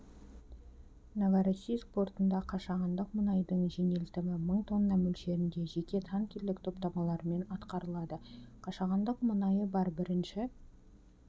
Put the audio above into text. новороссийск портында қашағандық мұнайдың жөнелтімі мың тонна молшерінде жеке танкерлік топтамаларымен атқарылады қашағандық мұнайы бар бірінші